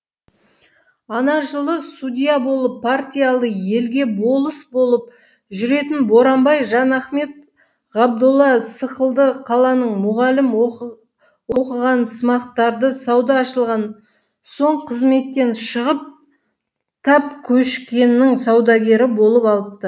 ана жылы судья болып партиялы елге болыс болып жүретін боранбай жанахмет ғабдолла сықылды қаланың мұғалім оқығансымақтары сауда ашылған соң қызметтен шығып талкөшкенің саудагері болып алыпты